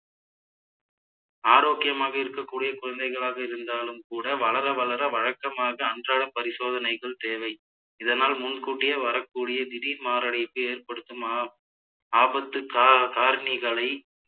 ஆரோக்கியமாக இருக்கக்கூடிய குழந்தைகளாக இருந்தாலும் கூட வளர வளர வழக்கமாக அன்றாட பரிசோதனைகள் தேவை இதனால் முன்கூட்டியே வரக்கூடிய திடீர் மாரடைப்பு ஏற்படுத்தும் ஆ~ ஆபத்து கா~ காரணிகளை